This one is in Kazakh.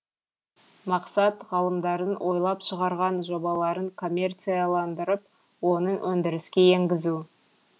мақсат ғалымдардың ойлап шығарған жобаларын коммерцияландырып оны өндіріске енгізу